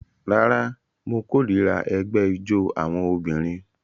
Rárá, mo kórìíra ẹgbẹ́ ijó àwọn obìnrin